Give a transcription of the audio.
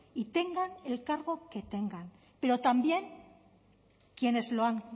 y tengan el cargo que tengan pero también quienes lo han